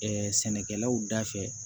sɛnɛkɛlaw da fɛ